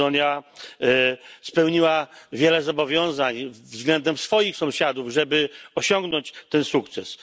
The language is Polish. Macedonia spełniła wiele zobowiązań względem swoich sąsiadów, żeby osiągnąć ten sukces.